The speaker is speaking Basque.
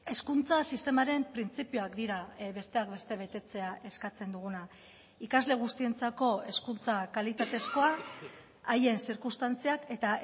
hezkuntza sistemaren printzipioak dira besteak beste betetzea eskatzen duguna ikasle guztientzako hezkuntza kalitatezkoa haien zirkunstantziak eta